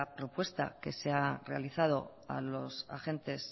propuesta que se ha realizado a los agentes